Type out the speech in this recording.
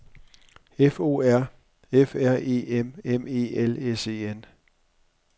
F O R F R E M M E L S E N